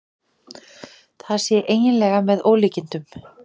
Það sé eiginlega með ólíkindum